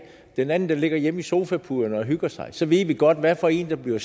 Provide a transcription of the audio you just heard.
den anden ligge hjemme i sofapuderne og hygge sig så ved vi godt hvad for en der bliver